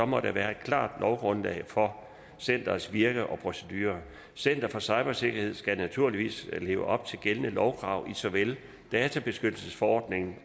må der være et klart lovgrundlag for centerets virke og procedurer center for cybersikkerhed skal naturligvis leve op til gældende lovkrav i såvel databeskyttelsesforordningen